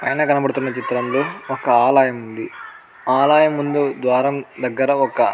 పైన కనపడుతున్న చిత్రంలో ఒక ఆలయం ఉంది. ఆ ఆలయం ముందు ద్వారం దెగ్గర ఒక --